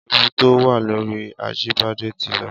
Éwu tó wà lóri Ajibade ti lọ